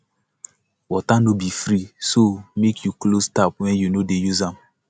water no be free so make you close tap when you no dey use am